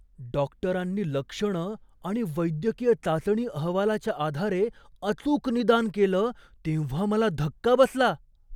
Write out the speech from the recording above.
डॉक्टरांनी लक्षणं आणि वैद्यकीय चाचणी अहवालाच्या आधारे अचूक निदान केलं तेव्हा मला धक्का बसला!